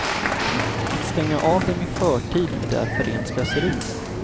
Att stänga av dem i förtid är därför rent slöseri.